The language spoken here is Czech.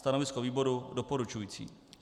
Stanovisko výboru doporučující.